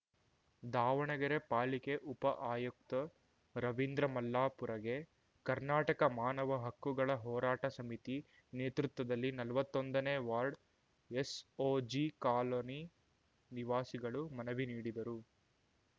ದಾವಣಗೆರೆ ಪಾಲಿಕೆ ಉಪ ಆಯುಕ್ತ ರವಿಂದ್ರ ಮಲ್ಲಾಪುರಗೆ ಕರ್ನಾಟಕ ಮಾನವ ಹಕ್ಕುಗಳ ಹೋರಾಟ ಸಮಿತಿ ನೇತೃತ್ವದಲ್ಲಿ ನಲ್ವತ್ತೊಂದನೇ ವಾರ್ಡ್ ಎಸ್‌ಓಜಿ ಕಾಲನಿ ನಿವಾಸಿಗಳು ಮನವಿ ನೀಡಿದರು